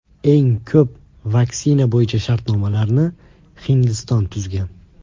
Eng ko‘p vaksina bo‘yicha shartnomalarni Hindiston tuzgan.